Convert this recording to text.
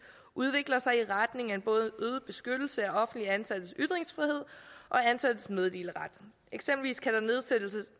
udvikler sig i retning af både øget beskyttelse af offentligt ansattes ytringsfrihed og ansattes meddeleret eksempelvis kan der